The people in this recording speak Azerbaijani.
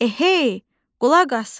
Ehey, qulaq asın!